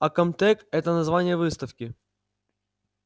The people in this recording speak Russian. а комтек это название выставки